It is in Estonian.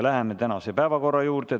Läheme tänase päevakorra juurde.